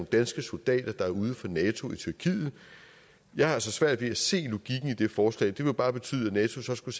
danske soldater der er ude for nato i tyrkiet jeg har altså svært ved at se logikken i det forslag det ville bare betyde at nato skulle